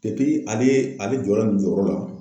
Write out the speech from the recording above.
ale, ala jɔla nin jɔyɔrɔ la.